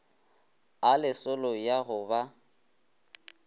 a lesolo ya go ba